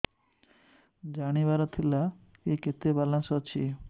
ଜାଣିବାର ଥିଲା କି କେତେ ବାଲାନ୍ସ ଅଛି